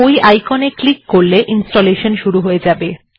ওই আইকন এ ক্লিক করলে ইনস্টলেশান শুরু হয়ে যাবে